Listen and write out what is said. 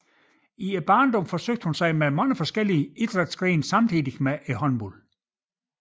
Hun forsøgte sig i barndommen med mange forskellige idrætsgrene samtidig med håndbolden